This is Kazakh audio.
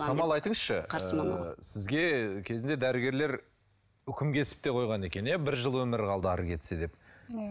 самал айтыңызшы сізге кезінде дәрігерлер үкім кесіп те қойған екен иә бір жыл өмірі қалды әрі кетсе деп иә